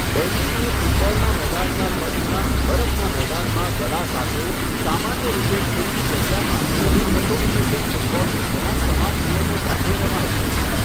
બેન્ડીને ફૂટબૉલના મેદાનના કદના બરફના મેદાનમાં દડા સાથે, સામાન્ય રીતે ખુલ્લી જગ્યામાં અને અસોસિએશન ફૂટબૉલથી ઘણા સમાન નિયમો સાથે રમાય છે.